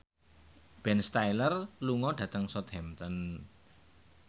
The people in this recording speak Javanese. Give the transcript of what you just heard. Ben Stiller lunga dhateng Southampton